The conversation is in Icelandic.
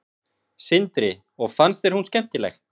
Sindri: Og finnst þér hún skemmtileg?